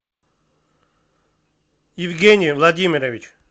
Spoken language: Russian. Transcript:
евгений владимирович